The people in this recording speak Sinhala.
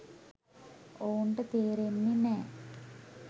ඔවුන්ට තේරෙන්නෙ නෑ.